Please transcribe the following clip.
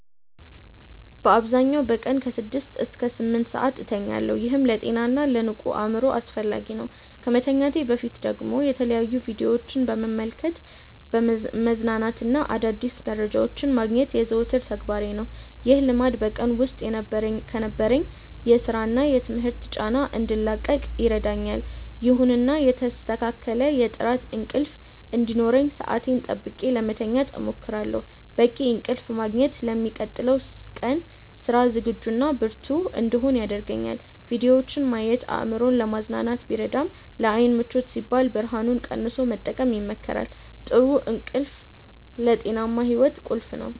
በአብዛኛው በቀን ከ6 እስከ 8 ሰዓት እተኛለሁ፤ ይህም ለጤናና ለንቁ አእምሮ አስፈላጊ ነው። ከመተኛቴ በፊት ደግሞ የተለያዩ ቪዲዮዎችን በመመልከት መዝናናትና አዳዲስ መረጃዎችን ማግኘት የዘወትር ተግባሬ ነው። ይህ ልማድ በቀን ውስጥ ከነበረኝ የሥራና የትምህርት ጫና እንድላቀቅ ይረዳኛል። ይሁንና የተስተካከለ የጥራት እንቅልፍ እንዲኖረኝ ሰዓቴን ጠብቄ ለመተኛት እሞክራለሁ። በቂ እንቅልፍ ማግኘት ለሚቀጥለው ቀን ስራ ዝግጁና ብርቱ እንድሆን ያደርገኛል። ቪዲዮዎችን ማየት አእምሮን ለማዝናናት ቢረዳም፣ ለዓይን ምቾት ሲባል ብርሃኑን ቀንሶ መጠቀም ይመከራል። ጥሩ እንቅልፍ ለጤናማ ሕይወት ቁልፍ ነው።